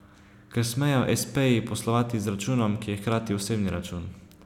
Ker smejo espeji poslovati z računom, ki je hkrati osebni račun.